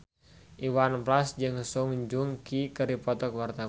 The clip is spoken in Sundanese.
Iwan Fals jeung Song Joong Ki keur dipoto ku wartawan